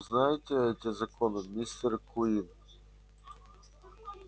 вы знаете эти законы мистер куинн